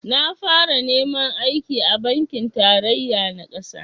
Na fara neman aiki a bankin tarayya na ƙasa